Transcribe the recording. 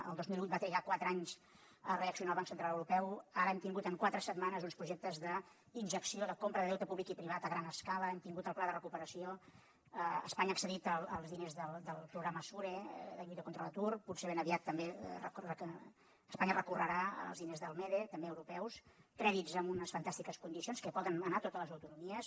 el dos mil vuit va trigar quatre anys a reaccionar el banc central europeu ara hem tingut en quatre setmanes uns projectes d’injecció de compra de deute públic i privat a gran escala hem tingut el pla de recuperació espanya ha accedit als diners del programa sure la lluita contra l’atur potser ben aviat també espanya recorrerà als diners del mede també europeus crèdits amb unes fantàstiques condicions que poden anar a totes les autonomies